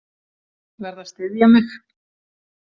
Verð að styðja mig.